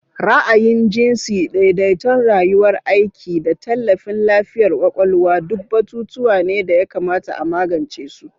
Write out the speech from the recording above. Ra'ayin jinsi, daidaiton rayuwar aiki, da tallafin lafiyar kwakwalwa duk batutuwa ne da ya kamata a magance su.